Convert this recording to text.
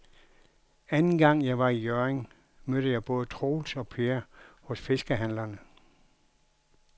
Anden gang jeg var i Hjørring, mødte jeg både Troels og Per hos fiskehandlerne.